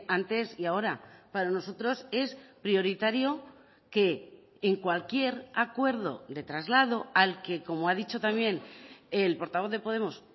antes y ahora para nosotros es prioritario que en cualquier acuerdo de traslado al que como ha dicho también el portavoz de podemos